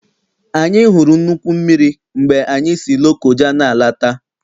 Anyị hụrụ nnukwu mmiri mgbe anyị si Lokoja n'alata.